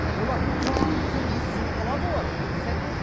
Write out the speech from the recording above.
олар жаным күнім десе сеніп қалады олар дұрыс айтасыз